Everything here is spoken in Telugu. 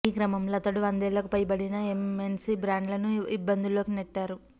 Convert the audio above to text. ఈ క్రమంలో అతడు వందేళ్లకు పైబడిన ఎంఎన్సి బ్రాండ్లను ఇబ్బందు ల్లోకి నెట్టారు